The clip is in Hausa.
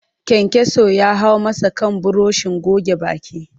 Kayankyaso ya hau masa kan burushin goge baki